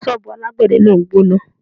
Ṣọ́bùù alágbè de náà ń gbóná.